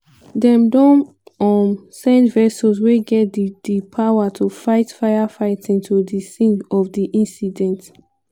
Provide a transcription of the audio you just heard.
dem don um send vessels wey get di di power to fight firefighting to di scene of di incident.